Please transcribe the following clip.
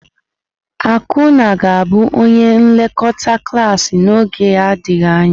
Akunna ga-abụ onye nlekọta klas n'oge adịghị anya.